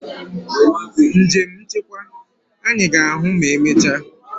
Njem nchekwa! Anyị ga-ahụ ma emechaa.